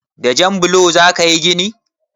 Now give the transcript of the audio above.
Da jan blo za ka yi gini?